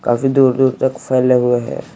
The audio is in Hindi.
--काफी दूर-दूर तक फैले हुए है।